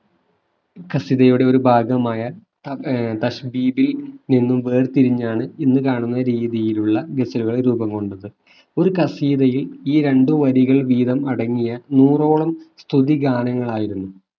ഖസീതയുടെ ഒരു ഭാഗമായ ത നിന്നും വേർതിരിഞ്ഞാണ് ഇന്നു കാണുന്ന രീതിയിലുള്ള ഗസലുകൾ രൂപം കൊണ്ടത് ഒരു ഖസീതയിൽ ഈ രണ്ടു വരികൾ വീതം അടങ്ങിയ നൂറോളം സ്തുതി ഗാനങ്ങളായിരുന്നു